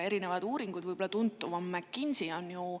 Erinevad uuringud, võib-olla tuntum neist on McKinsey oma, on ju …